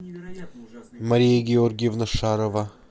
мария георгиевна шарова